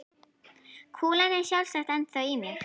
Kúlan er sjálfsagt ennþá í mér.